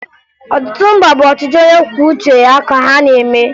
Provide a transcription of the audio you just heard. Ọtụtụ mba bụ ọchịchị onyekwuouche ya ka ha na-eme